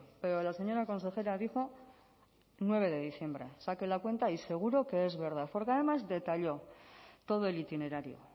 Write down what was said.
pero la señora consejera dijo nueve de diciembre saque la cuenta y seguro que es verdad porque además detalló todo el itinerario